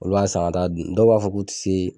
Olu b'a san ka taa dun dɔw b'a fɔ k'u ti se